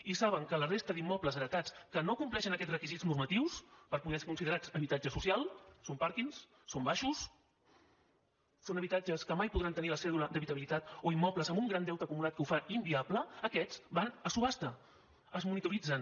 i saben que la resta d’immobles heretats que no compleixen aquests requisits normatius per poder ser considerats habitatge social són pàrquings són baixos són habitatges que mai podran tenir la cèdula d’habitabilitat o immobles amb un gran deute acumulat que ho fa inviable aquests van a subhasta es monitoritzen